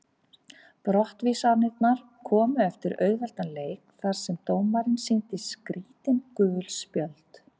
Brottvísanirnar komu eftir auðveldan leik þar sem dómarinn sýndi skrítin gul spjöld.